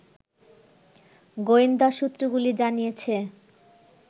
গোয়েন্দা সূত্রগুলি জানিয়েছে